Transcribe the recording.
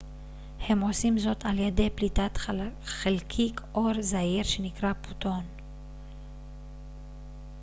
הם עושים זאת על ידי פליטת חלקיק אור זעיר שנקרא פוטון